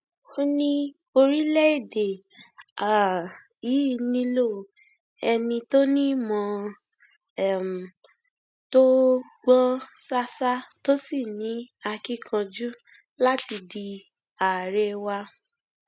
ó ní orílẹèdè um yìí nílò ẹni tó ní ìmọ um tó gbọn ṣáṣá tó sì ní akíkanjú láti di àárẹ wa